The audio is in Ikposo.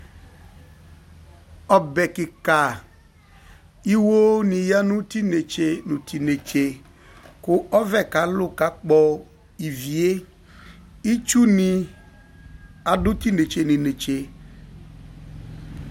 Ɔbɛ kikaa iwo niya nu tinetse ninetse Ku ɔvɛ kalu kakpɔ ivie Itsuni adu tinetse ninetse